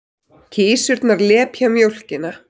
Kisurnar lepja mjólkina.